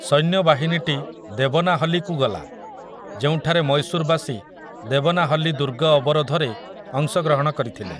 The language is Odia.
ସୈନ୍ୟବାହିନୀଟି ଦେବନାହଲ୍ଲୀକୁ ଗଲା, ଯେଉଁଠାରେ ମୈଶୂରବାସୀ ଦେବନାହଲ୍ଲୀ ଦୁର୍ଗ ଅବରୋଧରେ ଅଂଶଗ୍ରହଣ କରିଥିଲେ ।